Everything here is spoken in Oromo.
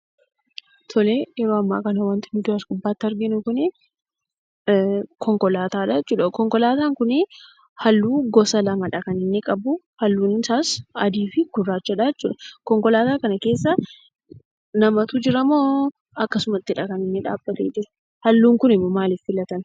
Yeroo ammaa kana wanti nuti as gubbaatti arginu kuni konkolaatadha jechuudha. Konkolaataan kun halluu gosa lamadha kan inni qabu. Haallun isaas adiifi gurraachadha jechuudha. Konkolaataa kana keessa namatu jiramoo akkasumattidha kan inni dhaabbate jiru? Haalluun kun ammoo maaliif filatame?